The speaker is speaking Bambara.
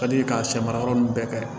Ka di k'a sɛ mara yɔrɔ ninnu bɛɛ kɛ